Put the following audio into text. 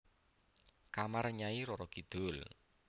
Kamar Nyai Roro Kidul